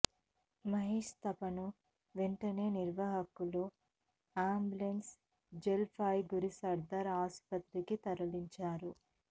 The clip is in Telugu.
మహేశ్ తాపాను వెంటనే నిర్వాహకులు అంబులెన్స్లో జల్ పాయ్ గురి సర్దార్ ఆసుప్రతికి తరలించారు